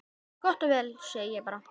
Gott og vel, segi ég bara.